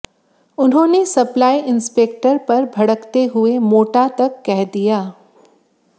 उन्होंने supply inspector पर भड़कते हुए मोटा तक कह दिया